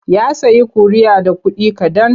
Ya sayi ƙuri'a da kuɗi kaɗan.